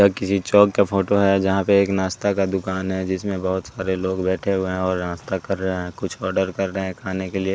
यह किसी चौक का फोटो है जहां पे एक नाश्ता का दुकान है जिसमें बहुत सारे लोग बैठे हुए है और नाश्ता कर रहे हैं कुछ आर्डर कर रहे खाने के लिए।